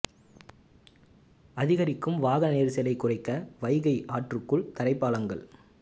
அதிகரிக்கும் வாகன நெரிசலை குறைக்க வைகை ஆற்றுக்குள் தரைப்பாலங்கள்